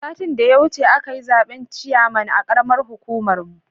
Satin da ya wuce akayi zaben ciyaman ya karamar hukumar mu